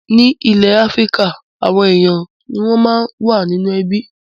Ní ilẹ̀ Áfíríkà, àwọn ènìyàn ni wọ́n máa ń wà nínú ẹbí.